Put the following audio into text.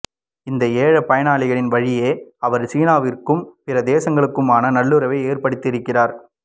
இந்த ஏழு பயணங்களின் வழியே அவர் சீனாவிற்கும் பிற தேசங்களுக்குமான நல்லுறவை ஏற்படுத்தியிருக்கிறார்